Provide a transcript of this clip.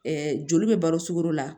joli bɛ balo sugolo la